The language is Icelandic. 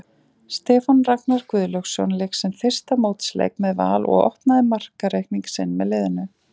Stefán Ragnar Guðlaugsson lék sinn fyrsta mótsleik með Val og opnaði markareikning sinn með liðinu.